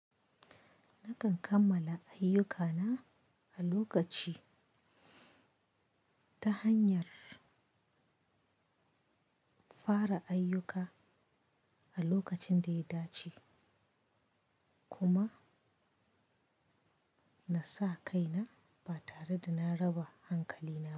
Nakan kammala ayyukana a lokaci ta hanyar fara ayyuka a lokacin da ya dace kuma na sa kaina ba tare da na raba hankalina ba.